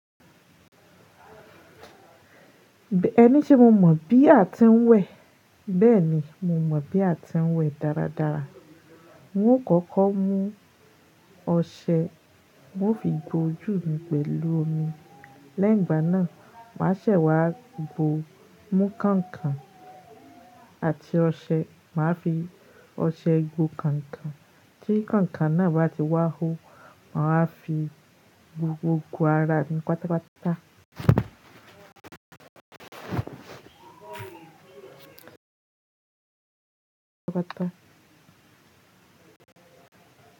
Ẹni se mo mọ̀ bí a ti ń wẹ̀, bẹ́ẹ̀ ni mo mọ̀ bí a ti ń wẹ̀ dáradára. Mó kọ́kọ́ mú ọṣẹ, moó fi gbó ojú mi pẹ̀lú omi. Lẹ́yìn ìgbà náà, màá ṣẹ̀ wá gbó, mú kànkàn àti ọṣẹ, màá fi ọṣẹ gbó kànkàn. Tí konkon náà bá ti wá hó, màá fi gbo, gbogbo ara mi pátápátá.